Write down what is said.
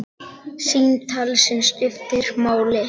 Símtal sem skiptir máli